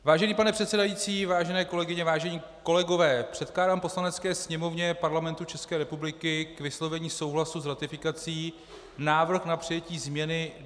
Vážený pane předsedající, vážené kolegyně, vážení kolegové, předkládám Poslanecké sněmovně Parlamentu České republiky k vyslovení souhlasu s ratifikací návrh na přijetí změny